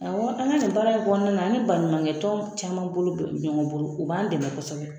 Awɔ an ka nin baara in kɔnɔna na an ni baɲumankɛtɔn caman bolo bɛ ɲɔgɔn bolo u b'an dɛmɛ kosɛbɛ